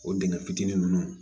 O dingɛ fitinin nunnu